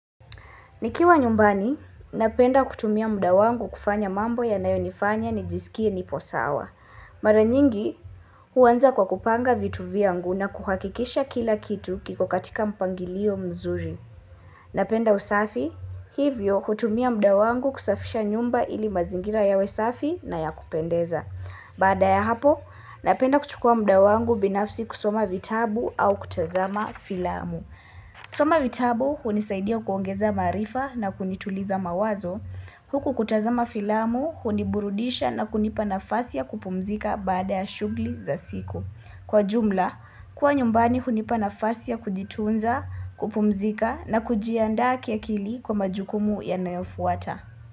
Nikiwa nyumbani, napenda kutumia muda wangu kufanya mambo yanayonifanya nijisikie nipo sawa. Mara nyingi, huwanza kwa kupanga vitu vyangu na kuhakikisha kila kitu kiko katika mpangilio mzuri. Napenda usafi, hivyo hutumia muda wangu kusafisha nyumba ili mazingira yawe safi na ya kupendeza. Baada ya hapo, napenda kuchukua muda wangu binafsi kusoma vitabu au kutazama filamu. Tuma vitabu hunisaidia kuongeza maarifa na kunituliza mawazo, huku kutazama filamu huniburudisha na kunipana nafasi ya kupumzika baada ya shughuli za siku. Kwa jumla, kuwa nyumbani hunipana nafasi ya kujitunza, kupumzika na kujiandaa kiakili kwa majukumu yanayofuata.